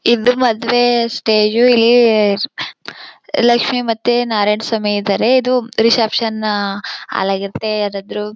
ಇದು ಮದುವೆ ಸ್ಟೇಜ್ ಇಲ್ಲಿ ಲಕ್ಷ್ಮಿ ಮತ್ತೆ ನಾರಾಯಣಸ್ವಾಮಿ ಇದ್ದಾರೆ ಇದು ರಿಸೆಪ್ಶನ್ ಹಾಲ್ ಆಗಿರುತ್ತೆ ಯಾರಾದ್ರೂ.